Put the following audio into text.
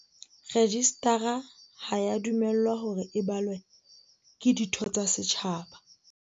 Rejistara ha ea dumellwa hore e balwe ke ditho tsa setjhaba.